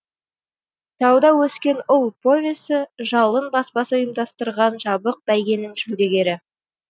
тауда өскен ұл повесі жалын баспасы ұйымдастырған жабық бәйгенің жүлдегері